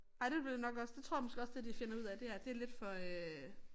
Nej det ville jeg nok også det jeg tror jeg måske også det de finder ud af det her det lidt for øh